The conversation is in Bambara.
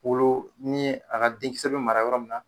Olu ni ye a ka den kisɛ be mara yɔrɔ min na